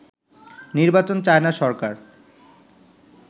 নির্বাচন চায় না সরকার